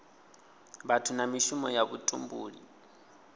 vhathu na mishumo ya vhutumbuli